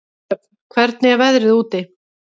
Dröfn, hvernig er veðrið úti?